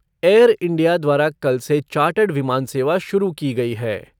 Air India द्वारा कल से चार्टर्ड विमान सेवा शुरू की गई है।